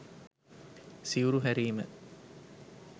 සිවුරු හැරීම